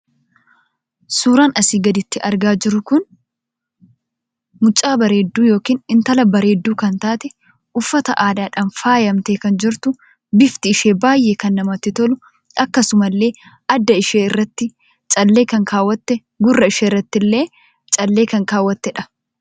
Suuraan asii gaditti argamu kun mucaa bareedduu yookiin intala bareedduu kan taate uffata aadaadhaan faayamtee kan jirtu bifni ishee baay'ee kan namatti tolu akkasumallee adda isheerratti callee kan kaawwatte gurra isheerrattillee callee kan kaawwattedha.